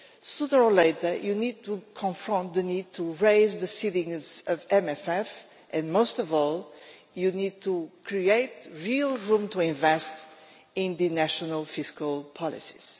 Sooner or later you need to confront the need to raise the ceilings of the MFF and, most of all, you need to create real room to invest in the national fiscal policies.